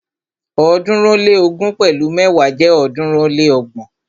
ọ̀ọ́dúnrún ó lé ógún pẹ̀lu mẹ́wa jẹ́ ọ̀ọ́dúnrún ó lé ọgbọ̀n.